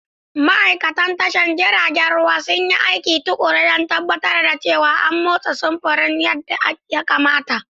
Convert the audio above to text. Ma'aikatan tashar jiragen ruwa sun yi aiki tuƙuru don tabbatar da cewa an motsa samfuran yadda ya kamata.